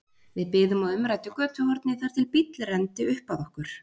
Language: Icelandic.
Við biðum á umræddu götuhorni þar til bíll renndi upp að okkur.